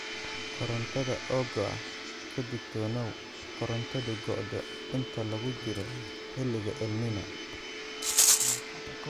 Korontada oo go'a ka digtoonow korontadu go'do inta lagu jiro xilliga El Niño.